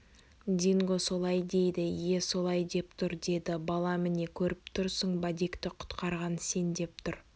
динго солай дейді ие солай деп тұр деді баламіне көріп тұрсың ба дикті құтқарған сен деп тұр